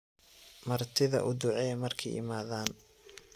Martidha uuducee marki iimadhan.